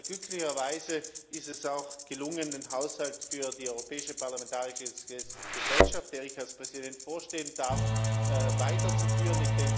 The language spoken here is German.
Glücklicherweise ist es auch gelungen, den Haushalt für die Europäische Parlamentarische Gesellschaft, der ich als Präsident vorstehen darf, weiterzuführen.